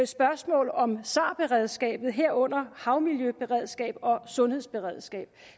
spørgsmål om sar beredskabet herunder havmiljøberedskab og sundhedsberedskab